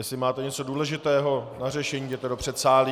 Jestli máte něco důležitého k řešení, jděte do předsálí.